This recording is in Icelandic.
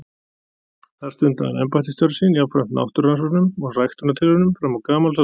þar stundaði hann embættisstörf sín jafnframt náttúrurannsóknum og ræktunartilraunum fram á gamals aldur